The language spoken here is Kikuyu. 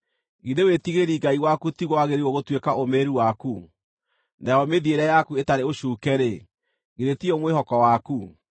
Githĩ wĩtigĩri Ngai waku tiguo wagĩrĩirwo gũtuĩka ũũmĩrĩru waku, nayo mĩthiĩre yaku ĩtarĩ ũcuuke-rĩ, githĩ tiyo mwĩhoko waku?